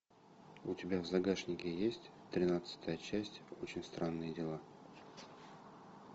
у тебя в загашнике есть тринадцатая часть очень странные дела